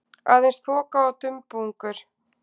Aðeins þoka og dumbungur.